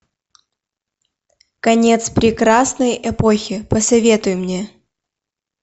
конец прекрасной эпохи посоветуй мне